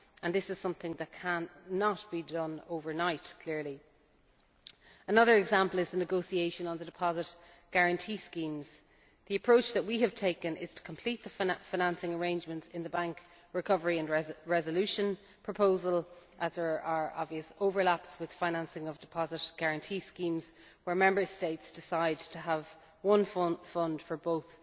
This is something that cannot be done overnight, clearly. Another example is the negotiation on the deposit guarantee schemes The approach we have taken is to complete the financing arrangements in the bank recovery and resolution proposal as there are obvious overlaps with financing of deposit guarantee schemes where Member States decide to have one fund for